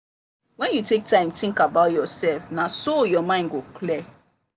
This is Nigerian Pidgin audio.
when you take time think about yourself na so your mind go clear.